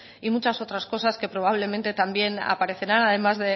y muchas otras cosas que probablemente también aparecerán además